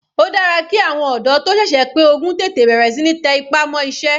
Ó dára ki àwọn ọ̀dọ́ tó sẹ̀sẹ̀ pé ogún tètè bẹ̀rẹ̀ síí tẹ ipá mọ́ iṣẹ́.